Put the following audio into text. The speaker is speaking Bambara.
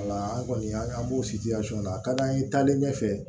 Wala an kɔni an b'o na a ka d'an ye taalen ɲɛfɛ